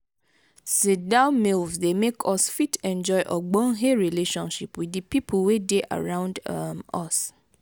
sit down meals dey make us fit enjoy ogbonhe relationship with di pipo wey dey around um us